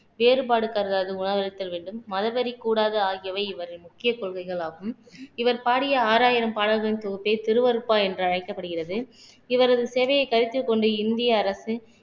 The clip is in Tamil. வேறுபாடு கருதாது உணவளித்தல் வேண்டும் மதவெறி கூடாது ஆகியவை இவரின் முக்கிய கொள்கைகளாகும் இவர் பாடிய ஆறாயிரம் பாடல்களின் தொகுப்பை திருவறுப்பா என்று அழைக்கப்படுகிறது இவரது சேவையை கருத்தில் கொண்டு இந்திய அரசு